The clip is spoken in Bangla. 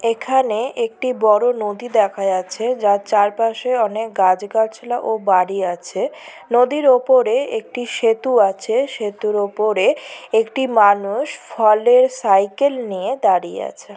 এখানে একটি বড় নদী দেখা যাচ্ছে যার চারপাশে অনেক গাছ-গাছলা ও বাড়ি আছে। নদীর ওপরে একটি সেতু আছে সেতুর ওপরে একটি মানুষ ফলের সাইকেল নিয়ে দাঁড়িয়ে আছে।